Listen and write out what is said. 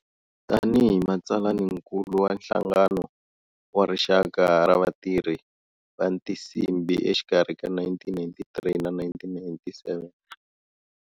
Gani hi matsalaninkulu wa Nhlangano wa Rixaka ra vatirhi va Tinsimbi exikarhi ka 1993 na 1997.